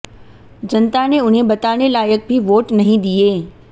जनता ने उन्हें बताने लायक भी वोट नहीं दिए